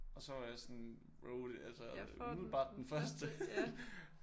Og så var jeg sådan bro det er altså umiddelbart den første